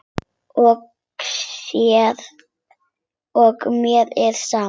Og mér er sama.